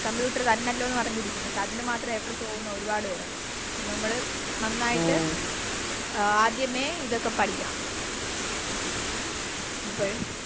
Computer തന്നല്ലോന്ന് പറഞ്ഞിരിക്കുന്നെ പക്ഷെ അതിനുമാത്രം A plus പോവുന്ന ഒരുപാട് പേരൊണ്ട് നമ്മള് നന്നായിട്ട് ആദ്യമേ ഇതൊക്കെ പഠിക്കണം